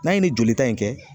N'a ye nin jolita in kɛ